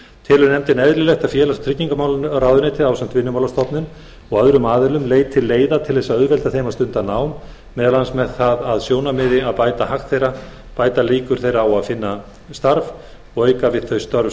telur nefndin eðlilegt að félags og tryggingamálaráðuneytið ásamt vinnumálastofnun og öðrum aðilum leiti leiða til að auðvelda þeim að stunda nám meðal annars með það að sjónarmiði að bæta hag þeirra bæta líkur þeirra á að finna starf og auka við þau störf